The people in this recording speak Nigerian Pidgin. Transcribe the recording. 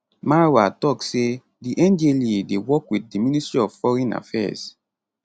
marwa tok say di ndlea dey work wit di ministry of foreign affairs